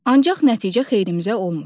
Ancaq nəticə xeyrimizə olmur.